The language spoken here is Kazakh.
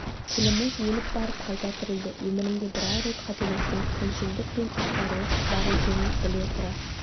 тіліміз өліп барып қайта тірілді өмірімде бір-ақ рет қателестім күншілдік пен іштарлық бар екенін біле тұра